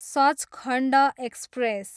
Sachkhand express